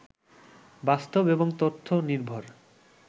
বাস্তব এবং তথ্য নির্ভর